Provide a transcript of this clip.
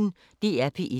DR P1